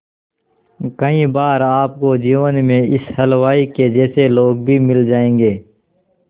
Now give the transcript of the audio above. कई बार आपको जीवन में इस हलवाई के जैसे लोग भी मिल जाएंगे